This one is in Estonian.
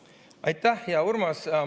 Aitäh, hea Urmas!